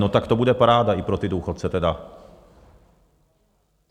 No tak to bude paráda i pro ty důchodce tedy.